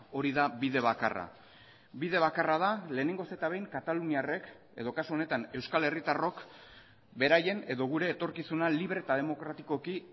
hori da bide bakarra bide bakarra da lehenengoz eta behin kataluniarrek edo kasu honetan euskal herritarrok beraien edo gure etorkizuna libre eta demokratikoki